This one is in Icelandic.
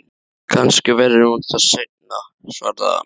Kannski verður hún það seinna, svaraði hann.